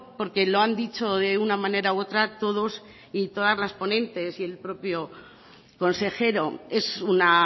porque lo han dicho de una manera u otra todos y todas las ponentes y el propio consejero es una